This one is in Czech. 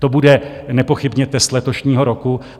To bude nepochybně test letošního roku.